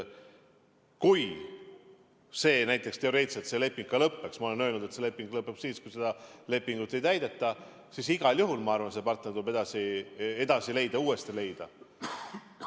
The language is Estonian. Kui see leping näiteks teoreetiliselt lõppeks – ma olen öelnud, et see leping lõpeb siis, kui seda lepingut ei täideta –, siis igal juhul, ma arvan, tuleb leida uus partner.